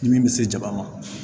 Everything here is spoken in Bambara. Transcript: Ni min bɛ se jaba ma